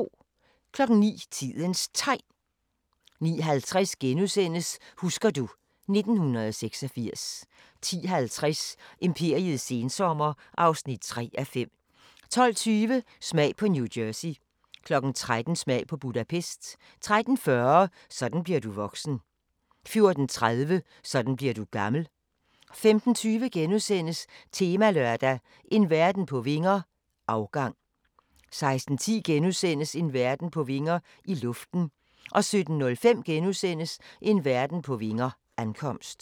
09:00: Tidens Tegn 09:50: Husker du ... 1986 * 10:50: Imperiets sensommer (3:5) 12:20: Smag på New Jersey 13:00: Smag på Budapest 13:40: Sådan bliver du voksen 14:30: Sådan bliver du gammel 15:20: Temalørdag: En verden på vinger - afgang * 16:10: En verden på vinger – i luften * 17:05: En verden på vinger – ankomst *